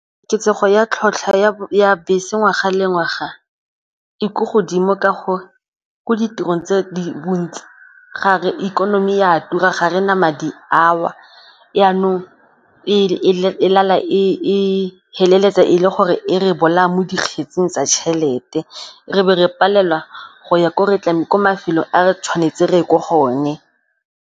Koketsego ya tlhatlhwa ya bese ngwaga le ngwaga e ko godimo ka gore ko ditirong tse di bontsi gare ikonomi e a tura, ga re na madi ao jqanong e feleletse e le gore e re bolaya mo dikgetsing tsa tšhelete re be re palelwa go ya ko re tlamehileng ko mafelong a re tshwanetse re ye ko go one.